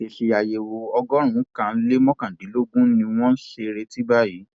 èsì àyẹwò ọgọrùnkan lé mọkàndínlọgbọn ni wọn sì ń retí báyìí